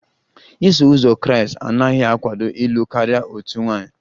Iso uzọ Kraịst anaghị akwado ịlụ karịa otu nwaanyị